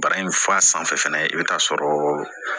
Bara in f'a sanfɛ fɛnɛ i bɛ taa sɔrɔ